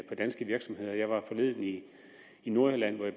på danske virksomheder jeg var forleden i nordjylland hvor jeg